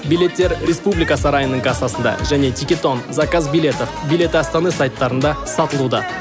билеттер республика сарайының кассасында және тикетон заказ билетов билеты астаны сайттарында сатылуда